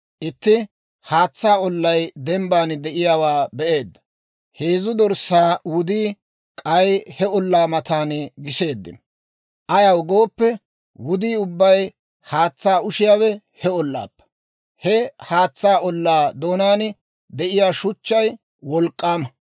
Itti haatsaa ollay dembban de'iyaawaa be'eedda; heezzu dorssaa wudii k'ay he ollaa matan giseeddino. Ayaw gooppe, wudii ubbay haatsaa ushiyaawe he ollaappe. He haatsaa ollaa doonaan de'iyaa shuchchay wolk'k'aama.